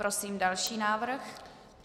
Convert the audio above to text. Prosím další návrh.